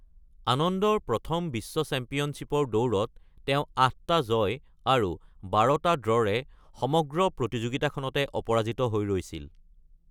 আনন্দৰ প্ৰথম বিশ্ব চেম্পিয়নশ্বিপৰ দৌৰত তেওঁ ৮টা জয় আৰু ১২টা ড্ৰৰে সমগ্ৰ প্ৰতিযোগিতাখনতে অপৰাজিত হৈ ৰৈছিল।